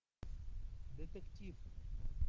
детектив